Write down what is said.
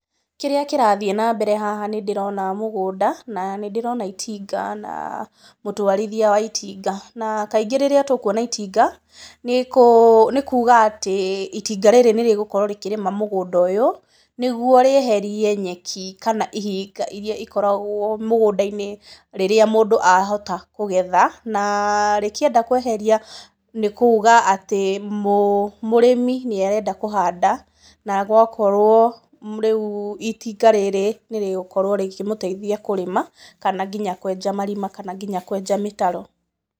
Kĩrĩa kĩrathiĩ na mbere haha nĩ ndĩrona mũgũnda, na nĩ ndĩrona itinga, na mũtwarithia wa itinga, na kaingĩ rĩrĩa tũkuona itinga nĩ kuuga atĩ itinga rĩrĩ nĩ rĩgũkorwo rĩkĩrĩma mũgũnda ũyũ, nĩ guo rĩeherie nyeki kana ihinga iria ikoragwo mũgũnda-inĩ rĩrĩa mũndũ ahota kũgetha na rĩkĩenda kũeheria nĩ kuuga atĩ mũrĩmi nĩ arenda kũhanda, na gũakorwo rĩu itinga rĩrĩ nĩ rĩgũkorwo rĩkĩmũteithia kũrĩma kana nginya kũenja marima kana nginya kũenja mĩtaro.